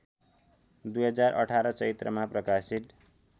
२०१८ चैत्रमा प्रकाशित